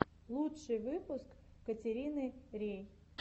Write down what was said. лучший выпуск катерины рей